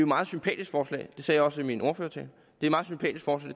meget sympatisk forslag det sagde jeg også i min ordførertale for